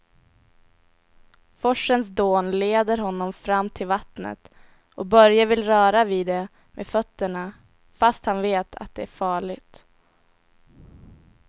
Forsens dån leder honom fram till vattnet och Börje vill röra vid det med fötterna, fast han vet att det är farligt.